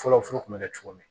Fɔlɔ furu kun be kɛ cogo min